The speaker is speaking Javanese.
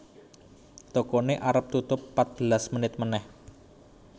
Tokone arep tutup patbelas menit meneh